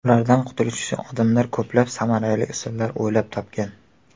Ulardan qutulish uchun odamlar ko‘plab samarali usullar o‘ylab topgan.